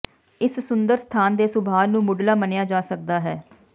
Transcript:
ਇਸ ਸੁੰਦਰ ਸਥਾਨ ਦੇ ਸੁਭਾਅ ਨੂੰ ਮੁੱਢਲਾ ਮੰਨਿਆ ਜਾ ਸਕਦਾ ਹੈ